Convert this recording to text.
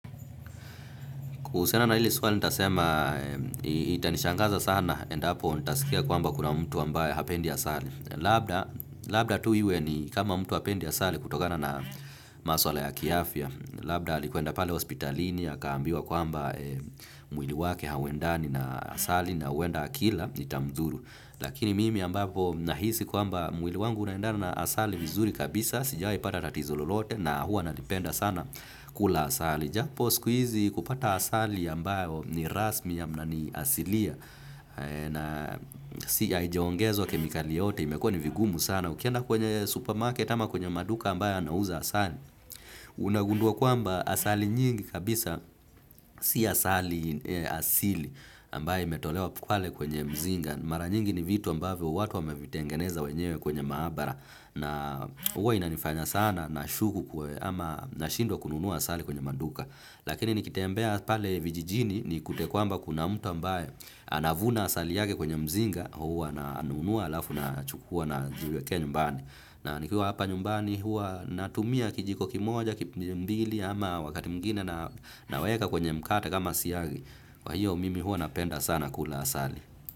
Kuhusiana na hili swali nitasema itanishangaza sana endapo nitaskia kwamba kuna mtu ambaye hapendi asali. Labda tu iwe ni kama mtu hapendi asali kutokana na maswala ya kiafya. Labda alikwenda pale hospitalini akaambiwa kwamba mwili wake hauendani na asali na wenda akila itamdhuru. Lakini mimi ambapo nahisi kwamba mwili wangu unaendana na asali vizuri kabisa sijai pata rtatizo lolote na hua nalipenda sana kula asali. Japo sku izi kupata asali ambayo ni rasmi ya mna ni asilia na si ya haijaongezwa kemikali yoyote imekuwa ni vigumu sana. Ukienda kwenye supermarket ama kwenye maduka ambayo yanauza asali. Unagundua kwamba asali nyingi kabisa si asali asili ambayo imetolewa pale kwenye mzinga. Mara nyingi ni vitu ambavyo watu wamevitengeneza wenyewe kwenye maabara. Na uwa inanifanya sana na shuku kwe ama nashindwa kununua asali kwenye maduka. Lakini nikitembea pale vijijini ni kute kwamba kuna mtu ambaye anavuna asali yake kwenye mzinga huwa na anunua alafu na chukua na jiwekea nyumbani. Na nikua hapa nyumbani huwa natumia kijiko kimoja, kipimbili ama wakati mwengine naweka kwenye mkate kama siyagi. Kwa hiyo mimi huwa napenda sana kula asali.